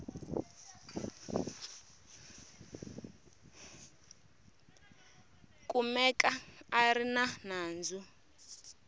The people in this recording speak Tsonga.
kumeka a ri na nandzu